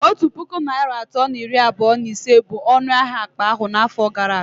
Otu puku naịra atọ na iri abụọ na ise bụ ọnụ ahịa akpa ahụ n'afọ gara aga